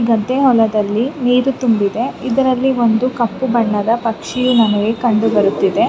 ಗದ್ದೆ ಹೊಲದಲ್ಲಿ ನೀರು ತುಂಬಿದೆ. ಇದರಲ್ಲಿ ಒಂದು ಕಪ್ಪು ಬಣ್ಣದ ಪಕ್ಷಿಯು ನಮಗೆ ಕಂಡು ಬರುತ್ತಿದೆ.